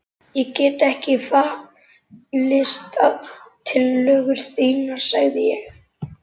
Ég get ekki fallist á tillögur þínar sagði ég.